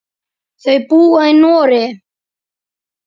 Þau búa í Noregi.